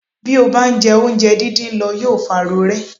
Bí ó bá ń jẹ oúnjẹ dídín lọ yóò fa rorẹ́.